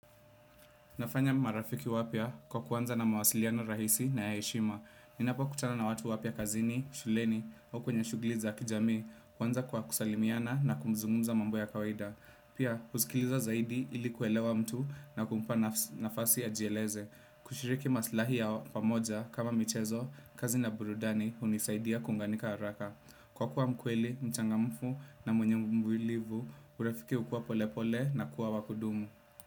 Nafanya marafiki wapya kwa kuanza na mawasiliano rahisi na ya heshima. Ninapokutana na watu wapya kazini, shuleni au kwenye shughuli za kijamii, kwanza kwa kusalimiana na kumzungumza mambo ya kawaida. Pia, kusikiliza zaidi ili kuelewa mtu na kumpa nafasi ajieleze. Kushiriki maslahi ya pamoja kama michezo, kazi na burudani hunisaidia kuunganika haraka. Kwa kuwa mkweli, mchangamfu na mwenye mvumlivu, urafiki hukua pole pole na kuwa wakudumu.